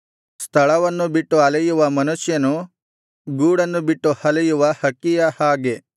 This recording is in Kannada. ಸ್ಥಳವನ್ನು ಬಿಟ್ಟು ಅಲೆಯುವ ಮನುಷ್ಯನು ಗೂಡನ್ನು ಬಿಟ್ಟು ಅಲೆಯುವ ಹಕ್ಕಿಯ ಹಾಗೆ